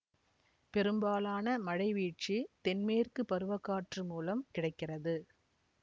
பெரும்பாலான மழைவீழ்ச்சி தென்மேற்கு பருவ காற்று மூலம் கிடைக்கிறது